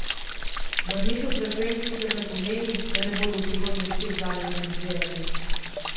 Vrnitev frekvenc sicer ne pomeni, da ne bodo v prihodnje spet zanje kandidirali.